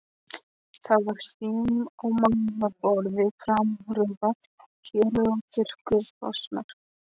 Það var hrím á mælaborðinu, framrúðan héluð og þurrkurnar frosnar.